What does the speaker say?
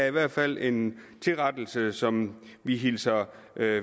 i hvert fald en tilrettelse som vi hilser